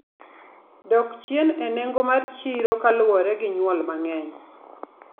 dok chien e nengo mar chiro kaluore gi nyuol mang'eny.